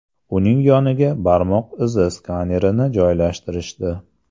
Uning yoniga barmoq izi skanerini joylashtirishdi.